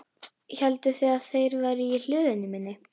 Hélduð þið að þeir væru í hlöðunni minni?